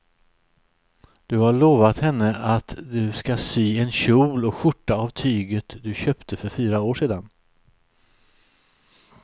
Du har lovat henne att du ska sy en kjol och skjorta av tyget du köpte för fyra år sedan.